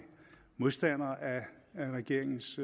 modstander af regeringens